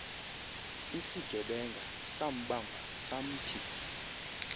isigebenga sambamba samthi